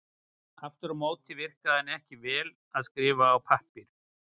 Aftur á móti virkaði hann ekki vel til að skrifa á pappír.